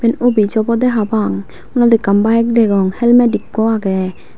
evan office obode parapang sane ekkan bike degong helmet ekku age.